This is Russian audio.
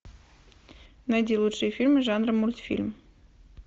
найди лучшие фильмы жанра мультфильм